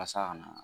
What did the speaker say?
Walasa a ka na